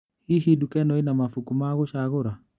Hihi nduka ĩno ĩnaa mabuku ma gũcagũra?